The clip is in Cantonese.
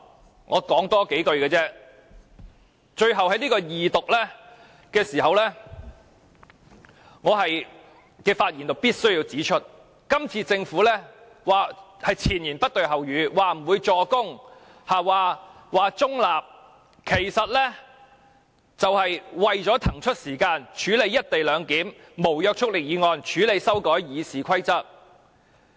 最後，我只會多說數句，在恢復二讀這個時候，我必須指出，政府這次是前言不對後語，說不會"助攻"，說保持中立，其實是為了騰出時間處理有關"一地兩檢"的無約束力議案，處理修改《議事規則》。